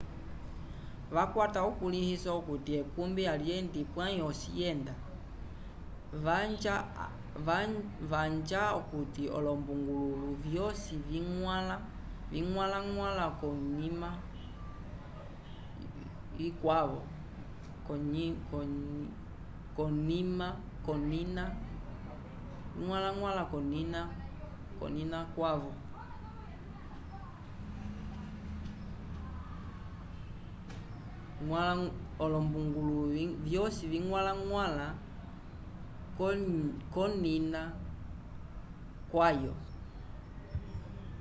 vakwata ukuliiso akuti ekubi alyendi pway osi yenda vanja akuti olombungulu vyosi vingwala ngwala vokunina kwavyo